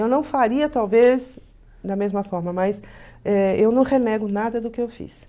Eu não faria, talvez, da mesma forma, mas eh eu não renego nada do que eu fiz.